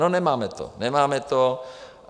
No, nemáme to, nemáme to.